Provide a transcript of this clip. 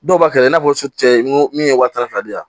Dɔw b'a kɛlɛ i n'a fɔ cɛ ko min ye wa tan ni fila di yan